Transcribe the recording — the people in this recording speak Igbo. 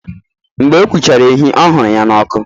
Mgbe ọ gbuchara ehi ọ huru ya ọkụ